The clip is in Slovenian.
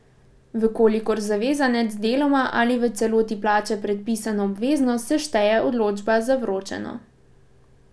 V kolikor zavezanec deloma ali v celoti plača predpisano obveznost, se šteje odločba za vročeno.